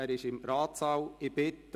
Er ist im Ratssaal anwesend.